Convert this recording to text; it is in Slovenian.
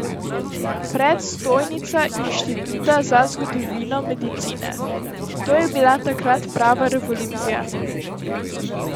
Predstojnica Inštituta za zgodovino medicine: 'To je bila takrat prava revolucija.